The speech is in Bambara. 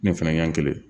Ne fɛnɛ ɲɛ kelen